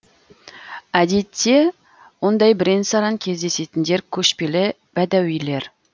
әдетте ондай бірен саран кездесетіндер көшпелі бәдәуилер